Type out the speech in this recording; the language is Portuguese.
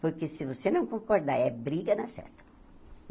Porque se você não concordar, é briga, na certa.